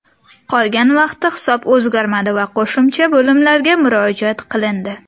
Qolgan vaqtda hisob o‘zgarmadi va qo‘shimcha bo‘limlarga murojaat qilindi.